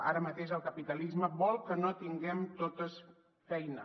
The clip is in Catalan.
ara mateix el capitalisme vol que no tinguem totes feina